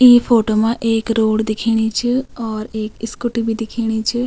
ई photo मा एक road दिखेणी च और एक स्कूटी भी दिखेणी च।